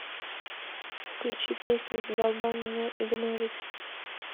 включи песню задолбал меня игнорить